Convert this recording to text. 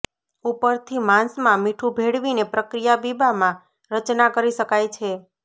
ઉપરથી માંસમાં મીઠું ભેળવીને પ્રક્રિયા બીબામાં રચના કરી શકાય છે